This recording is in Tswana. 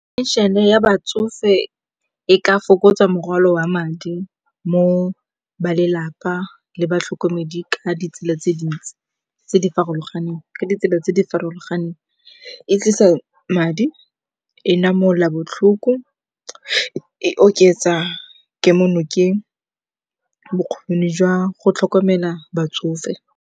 Pension-e ya batsofe e ka fokotsa morwalo wa madi mo go ba lelapa le batlhokomedi ka ditsela tse dintsi tse di farologaneng, ka ditsela tse di farologaneng. E tlisa madi, e namola botlhoko, e oketsa kemonokeng, bokgoni jwa go tlhokomela batsofe.